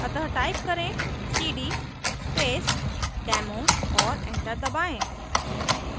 अतः type करें cd space demo और enter दबाएँ